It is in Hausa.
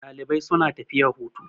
Dalibai suna tafiya hutu.